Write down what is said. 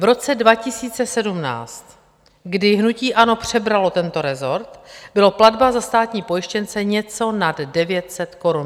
V roce 2017, kdy hnutí ANO přebralo tento resort, byla platba za státní pojištěnce něco nad 900 korun, přesně 920 korun.